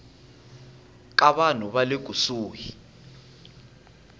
ka vanhu va le kusuhi